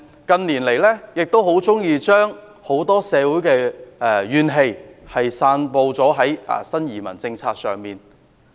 近年來，很多人喜歡將社會怨氣散布至新移民政策上。